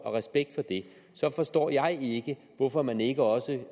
og respekt for det forstår jeg ikke hvorfor man ikke også